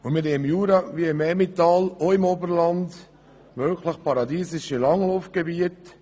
Wir haben sowohl im Jura als auch im Emmental und im Oberland wirklich paradiesische Langlaufgebiete.